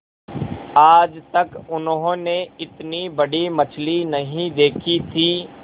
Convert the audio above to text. आज तक उन्होंने इतनी बड़ी मछली नहीं देखी थी